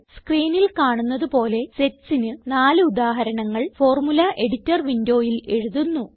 സ്ക്രീനിൽ കാണുന്നത് പോലെ setsന് നാല് ഉദാഹരണങ്ങൾ ഫോർമുല എഡിറ്റർ വിൻഡോയിൽ എഴുതുന്നു